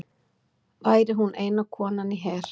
Væri hún eina konan í her